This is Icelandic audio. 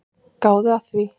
Gáðu að því.